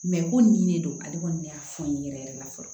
ko nin de don ale kɔni ne y'a fɔ n ye yɛrɛ yɛrɛ la fɔlɔ